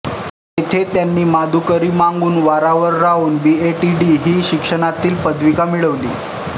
तेथे त्यांनी माधुकरी मागून वारावर राहून बी ए टी डी ही शिक्षणातील पदविका मिळविली